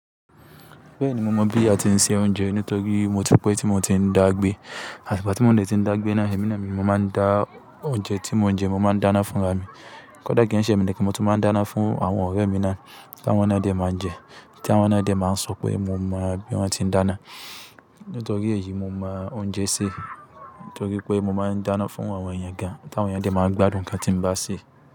Bẹ́ẹ̀ni, mo mọ̀ bí a ti ń se oúnjẹ nítorí mo tú pẹ́ tí mo ti ń dàgbé. Àti ìgbà tí mò ń dẹ́tì ń dàgbé náà, èmi lára mi mo máa ń dá oúnjẹ tí mò ń jẹ, mo máa ń dáná fún ara mi. Kódà kí n ṣe mi ní kí mo tún máa ń dáná fún àwọn ọ̀rẹ́ mi náà ta àwọ́n ná dẹ máa ń jẹ, tí awọ́n ná dẹ máa ń sọ pé mo mọ bí wọ́n ti ń dáná. Nítorí èyí, mo mọ oúnjẹ sé, nítorí pé mo máa ń dáná fún àwọn èèyàn gan, tí àwọn èèyàn dẹ máa ń gbádùn nkan tí ń bá ṣe.